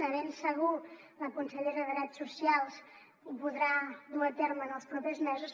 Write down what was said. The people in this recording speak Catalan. de ben segur la consellera de drets socials ho podrà dur a terme en els propers mesos